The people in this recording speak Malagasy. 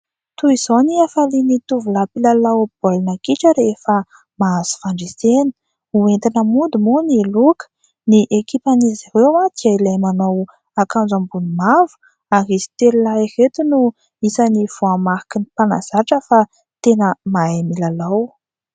Toy izao ny hafalian'ny tovolahy mpilalao baolina kitra rehefa mahazo fandresena. Hoentina mody moa ny loka. Ny ekipan'izy ireo dia ilay manao akanjo ambony mavo ary izy telo lahy ireto no isan'ny voamariky ny mpanazatra fa tena mahay milalao.